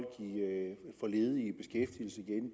få ledige